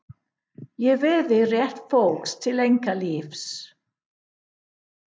Ég virði rétt fólks til einkalífs.